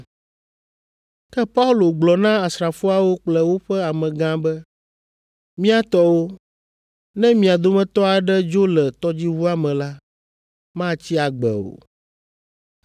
Ke Paulo gblɔ na asrafoawo kple woƒe amegã be, “Mía tɔwo, ne mia dometɔ aɖe dzo le tɔdziʋua me la, matsi agbe o.”